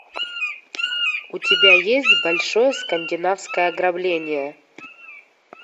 у тебя есть большое скандинавское ограбление